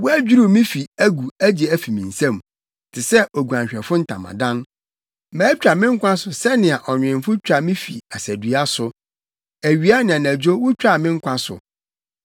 Wɔadwiriw me fi agu agye afi me nsam, te sɛ, oguanhwɛfo ntamadan. Matwa me nkwa so sɛnea ɔnwemfo twa me fi asadua so; awia ne anadwo wutwaa me nkwa so.